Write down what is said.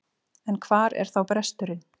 En hvar er þá bresturinn?